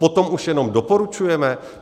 Potom už jenom doporučujeme?